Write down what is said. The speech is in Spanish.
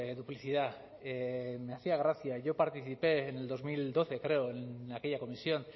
duplicidad me hacía gracia yo participe en el dos mil doce creo en aquella comisión